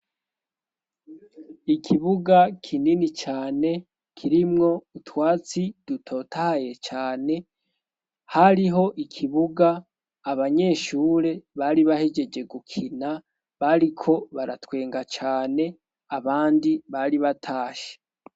Ikibuga kinini cane kirimwo utwatsi dutotaye cane hariho ikibuga abanyeshure bari bahejeje gukina bariko baratwenga cane abandi bari batashe.